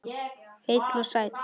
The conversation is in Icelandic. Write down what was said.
Heill og sæll.